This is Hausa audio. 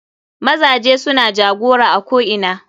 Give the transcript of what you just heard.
Mazaje sune jagora a ko ina.